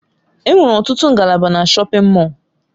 Enwere ọtụtụ ngalaba na shọpin Mọll.